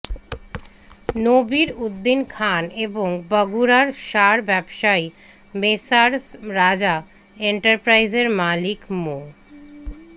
নবির উদ্দিন খান এবং বগুড়ার সার ব্যবসায়ী মেসার্স রাজা এন্টারপ্রাইজের মালিক মো